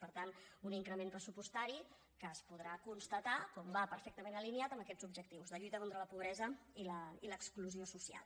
per tant un increment pressupostari que es podrà constatar que va perfectament alineat amb aquests objectius de lluita contra la pobresa i l’exclusió social